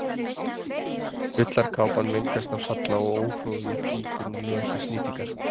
Ullarkápan mengast af salla og óhroði fýkur úr nös við snýtingar.